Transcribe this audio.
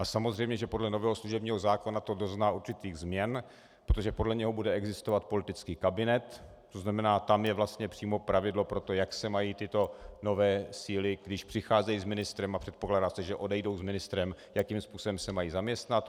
A samozřejmě, že podle nového služebního zákona to dozná určitých změn, protože podle něj bude existovat politický kabinet, to znamená, tam je vlastně přímo pravidlo pro to, jak se mají tyto nové síly, když přicházejí s ministrem a předpokládá se, že odejdou s ministrem, jakým způsobem se mají zaměstnat.